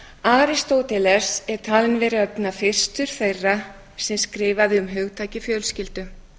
aristóteles er talinn vera einna fyrstur þeirra sem skrifaði um hugtakið fjölskyldu